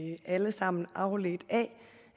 jo alle sammen afledt af